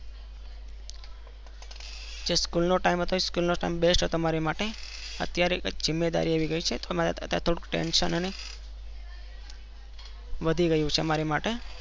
School નો team best હતો. મારી માટે અત્યારે કૈંક જિમ્મેદારી આવી ગયી છે. તો મારે અત્યારે કૈંક Tenshion અને વધી ગયું છે મારી માટે